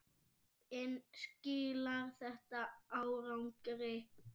En skilar þetta árangri?